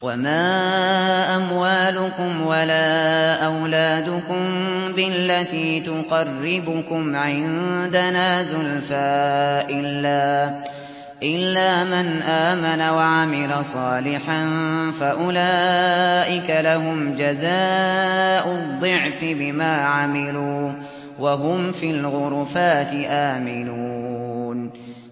وَمَا أَمْوَالُكُمْ وَلَا أَوْلَادُكُم بِالَّتِي تُقَرِّبُكُمْ عِندَنَا زُلْفَىٰ إِلَّا مَنْ آمَنَ وَعَمِلَ صَالِحًا فَأُولَٰئِكَ لَهُمْ جَزَاءُ الضِّعْفِ بِمَا عَمِلُوا وَهُمْ فِي الْغُرُفَاتِ آمِنُونَ